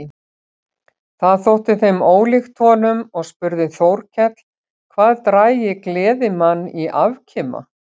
Það þótti þeim ólíkt honum og spurði Þórkell hvað drægi gleðimann í afkima.